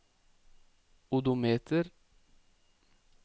odometer